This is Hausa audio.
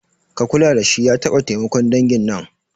Ka kula dashi ya taɓa taimakon dangin nan